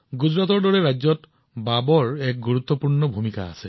গুজৰাটৰ দৰে এখন ৰাজ্যত ভাভে এক বৃহৎ ভূমিকা পালন কৰিছে